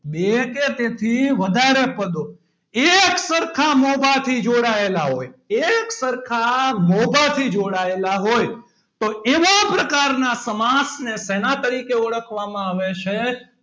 બે કે તેથી વધારે પદો એક સરખા મોભાથી જોડાયેલા હોય એક સરખા મોભાથી જોડાયેલા હોય તો એવા પ્રકારના સમાસને સેના તરીકે ઓળખવામાં આવે છે.